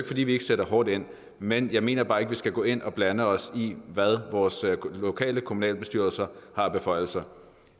fordi vi ikke sætter hårdt ind men jeg mener bare ikke vi skal gå ind og blande os i hvad vores lokale kommunalbestyrelser har af beføjelser